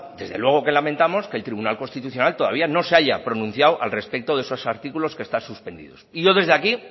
desde luego que lamentamos que el tribunal constitucional todavía no se haya pronunciado al respecto de esos artículos que están suspendidos y yo desde aquí